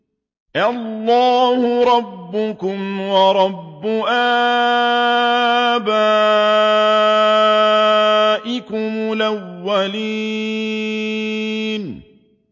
اللَّهَ رَبَّكُمْ وَرَبَّ آبَائِكُمُ الْأَوَّلِينَ